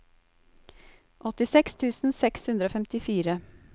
åttiseks tusen seks hundre og femtifire